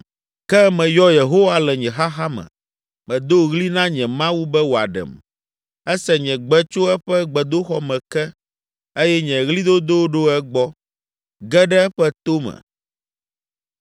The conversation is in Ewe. “Ke meyɔ Yehowa le nye xaxa me, medo ɣli na nye Mawu be wòaɖem. Ese nye gbe tso eƒe gbedoxɔ me ke eye nye ɣlidodo ɖo egbɔ, ge ɖe eƒe to me.